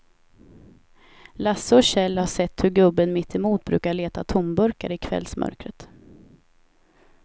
Lasse och Kjell har sett hur gubben mittemot brukar leta tomburkar i kvällsmörkret.